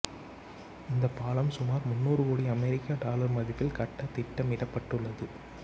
இந்தப்பாலம் சுமார் முன்னூறு கோடி அமெரிக்க டாலர் மதிப்பில் கட்ட திட்டமிடப்பட்டுள்ளது